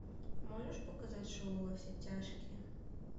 можешь показать шоу во все тяжкие